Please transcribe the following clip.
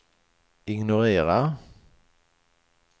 ignorera